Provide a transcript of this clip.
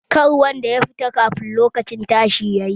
Kada wanda ya fita kafin lokacin tashi yayi!